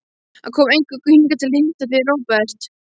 Hann kom eingöngu hingað til að hitta þig, Róbert.